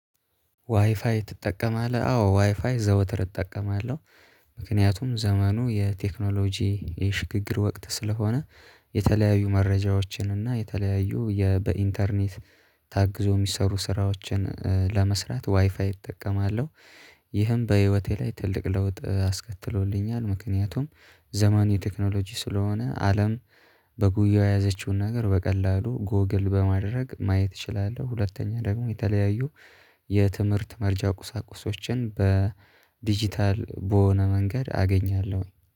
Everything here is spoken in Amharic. ዋይፋይ ትጠቀማለህ? አዎ ዋይፋይ ዘወትር እጠቀማለሁ ምክንያቱም ዘመኑ የቴክኖሎጂ የሽግግር ወቅት ስለሆነ የተለያዩ መረጃዎችን እና የተለያዩ በኢንተርኔት ታግዞ የሚሰሩ ስራዎችን ለመስራት ዋይፋይ እጠቀማለሁ። ይህም በህይወቴ ላይ ትልቅ ለውጥ አስከትሎልኛል ምክንያቱም ዘመንዊ ቴክኖሎጂ ስለሆነ አለም በጉያው የያዘችውን ነገር በቀላሉ ጎግል በማድረግ ማየት እችላለሁ። ሁለተኛ ደግሞ የተለያዩ የትምህርት መረጃ ቁሳቁሶችን በዲጂታል በሆነ መንገድ አገኛለሁኝ